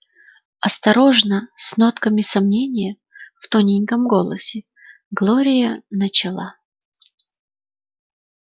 осторожно с нотками сомнения в тоненьком голосе глория начала